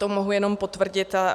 To mohu jenom potvrdit.